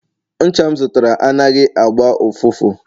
ncha m zụtara anaghị agba ụfụfụ